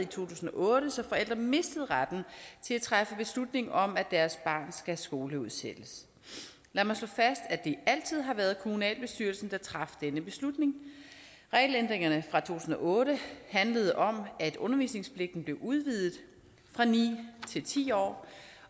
tusind og otte så forældre mistede retten til at træffe beslutning om at deres barn skal skoleudsættes lad mig slå fast at det altid har været kommunalbestyrelsen der traf denne beslutning regelændringerne fra to tusind og otte handlede om at undervisningspligten blev udvidet fra ni til ti år